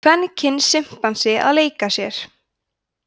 kvenkyns simpansi að leika sér